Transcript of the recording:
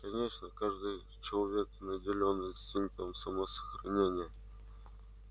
конечно каждый человек наделён инстинктом самосохранения